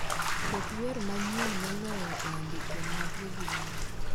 Ket wer manyien moloyo e andike mag boby wine